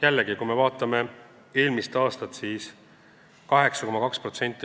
Jällegi, kui me vaatame eelmist aastat, siis oli meie võlakoormus 8,2%.